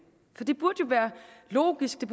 for det burde jo være logisk